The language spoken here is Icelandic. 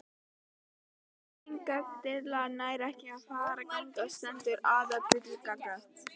Ef breytingatillaga nær ekki fram að ganga stendur aðaltillaga.